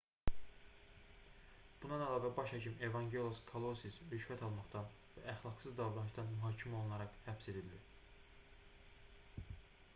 bundan əlavə baş hakim evangelos kalousis rüşvət almaqdan və əxlaqsız davranışdan mühakimə olunaraq həbs edildi